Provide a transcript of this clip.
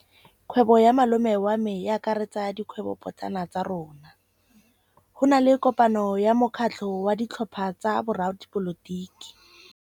Kgwêbô ya malome wa me e akaretsa dikgwêbôpotlana tsa rona. Go na le kopanô ya mokgatlhô wa ditlhopha tsa boradipolotiki.